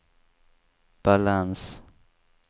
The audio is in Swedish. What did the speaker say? balans